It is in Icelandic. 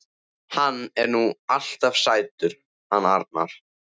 Hann er nú alltaf sætur hann Arnar.